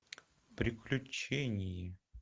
приключения